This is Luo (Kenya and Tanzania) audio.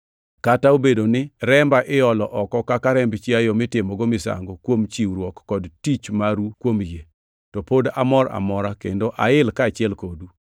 Kata obedo ni remba iolo oko kaka remb chiayo mitimogo misango kuom chiwruok kod tich maru kuom yie, to pod amor amora kendo ail kaachiel kodu.